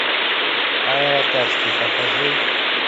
аэротачки покажи